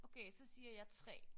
Okay så siger jeg 3